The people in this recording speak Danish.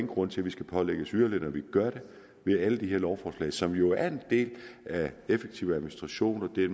grund til at vi skal pålægges yderligere når vi gør det via alle de her lovforslag som jo er en del af effektiv administration i